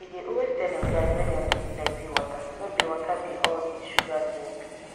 e dey always tell im guys make dem drink plenty water no be water no be all this sugar drink